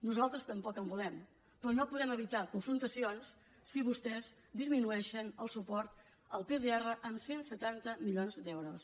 nosaltres tampoc en volem però no podem evitar confrontacions si vostès disminueixen el suport al pdr en cent i setanta milions d’euros